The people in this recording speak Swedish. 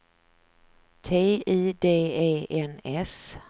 T I D E N S